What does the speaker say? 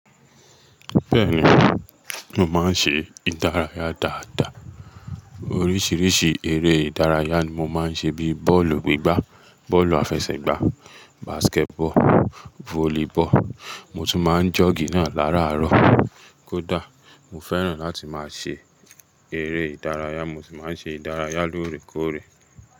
Bẹ́ẹ̀ni, mo máa ń ṣe ìdárayá dáadáa. Oríṣiríṣi eré ìdárayá ni mo máa ń ṣe bíi bọ́ọ̀lù gbígbá, bọ́ọ̀lù àfẹsẹ̀gbá, basketball, volleyball, mo tún máa ń jọ̀gí náà lára àárọ̀ kódà. Mo fẹ́ràn láti máa ṣe eré ìdárayá, mo sì máa ń ṣe ìdárayá lóòrèkóòrè.